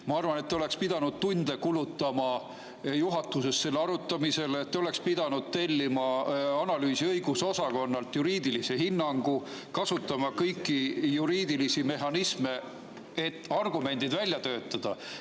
Ma arvan, et te oleksite pidanud tunde kulutama juhatuses selle arutamisele, te oleksite pidanud tellima analüüsi- ja õigusosakonnalt juriidilise hinnangu, kasutama kõiki juriidilisi mehhanisme, et argumendid välja töötada.